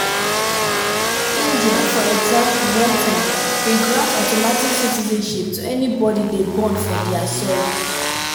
india for example one time dey grant automatic citizenship to anybody dem born for dia soil.